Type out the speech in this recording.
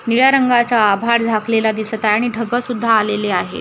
निळ्या रंगाचा आभाळ झाकलेला दिसत आहे आणि ढगं सुद्धा आलेले आहेत .